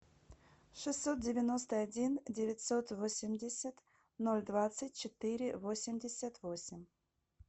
шестьсот девяносто один девятьсот восемьдесят ноль двадцать четыре восемьдесят восемь